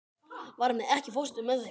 Varmi, ekki fórstu með þeim?